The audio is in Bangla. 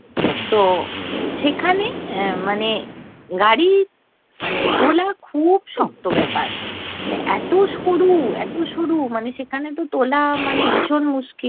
তো উম সেখানে মানে গাড়ি মানে তোলা খুুউব শক্ত ব্যাপার, মানে এতো সরু এতো সরু! মানে সেখানে তো তোলা মানে ভীষণ মুশকিল।